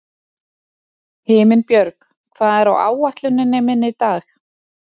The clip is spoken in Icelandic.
Himinbjörg, hvað er á áætluninni minni í dag?